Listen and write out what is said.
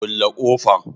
kulle kofan.